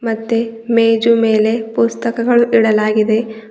ಮತ್ತೆ ಮೆಜು ಮೇಲೆ ಪುಸ್ತಕಗಳು ಇಡಲಾಗಿದೆ.